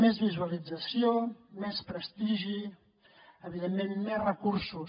més visualització més prestigi evidentment més recursos